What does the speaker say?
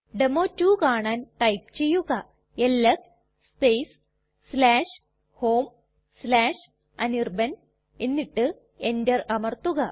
ഡെമോ2 കാണാൻ ടൈപ്പ് ചെയ്യുക LS space homeanirban എന്നിട്ട് enter അമർത്തുക